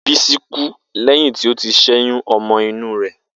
Bisi kú lẹ́yìn tí ó ti ṣẹ́yún ọmọ inú rẹ̀.